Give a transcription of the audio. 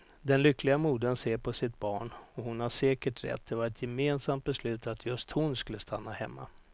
Den lyckliga modern ser på sitt barn och hon har säkert rätt, det var ett gemensamt beslut att just hon skulle stanna hemma.